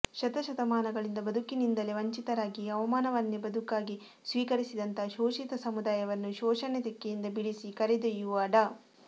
ಶತ ಶತಮಾನಗಳಿಂದ ಬದುಕಿನಿಂದಲೇ ವಂಚಿತರಾಗಿ ಅವಮಾನ ವನ್ನೇ ಬದುಕಾಗಿ ಸ್ವೀಕರಿಸಿದಂತಹ ಶೋಷಿತ ಸಮುದಾಯವನ್ನು ಶೋಷಣೆ ತೆಕ್ಕೆಯಿಂದ ಬಿಡಿಸಿ ಕರೆದೊಯ್ಯುವ ಡಾ